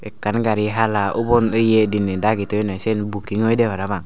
ekkan gari hala ubon ye diney dagi toyonde siyen buking oyede parapang.